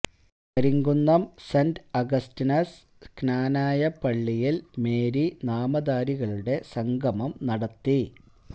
Karimkunnam Saint Augustine's Knanaya പള്ളിയില് Mary നാമധാരികളുടെ സംഗമം നടത്തി